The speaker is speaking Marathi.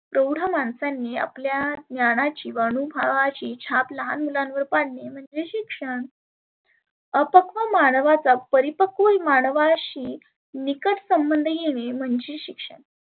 तेव्हढ माणसांनी त्या ज्ञानाची व अनुभवाची छाप लहाण मुलांवर पाडने म्हणजे शिक्षण. अपक्व मानवाचा परिपक्व मानवाशी निकट संबध येणे म्हणजे शिक्षण.